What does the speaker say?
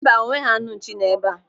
Mba, enweghị anụ nchi nọ ebe a.